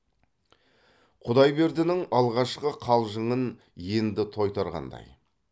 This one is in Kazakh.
құдайбердінің алғашқы қалжыңын енді тойтарғандай